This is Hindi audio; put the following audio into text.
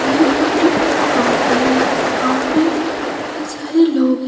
ये फोटो एक गांव की है इस गांव में बहुत सारे लोग है।